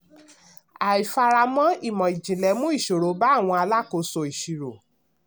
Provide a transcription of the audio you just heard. àìfaramọ ìmọ̀-jìnlẹ̀ mú ìṣòro ba àwọn alákóso ìṣirò.